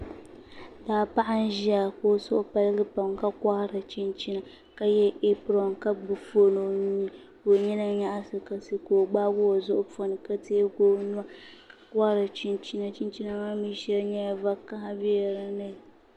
Daa paɣa n ʒiya ka o suhu paligi pam ka kohari chinchina ka yɛ ɛpron ka gbubi foon o nuu ni ka nina nyaɣasira ka o gbaai o zuɣu poni ka teegi o nuwa ka kohari chinchina chinchina maa mii shɛŋa nyɛla vakaɣa biɛla dinni